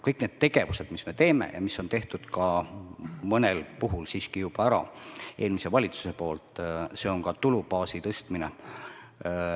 Kõik need tegevused, mis me teeme ja mis on tehtud ka mõnel puhul juba ära eelmise valitsuse poolt, on ka tulubaasi tõstmine.